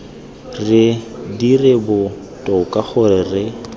re dire botoka gore re